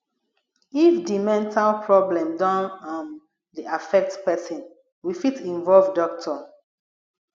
if di mental problem don um dey affect person we fit involve doctor